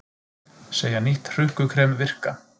Segja nýtt hrukkukrem virka